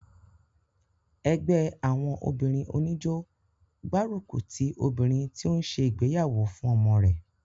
ẹgbẹ́ àwọn obìnrin oníjó gbárùkùtì obìnrin tí ó ń se ìgbéyàwó fún ọmọ rẹ̀